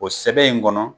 O sɛbɛn in kɔnɔ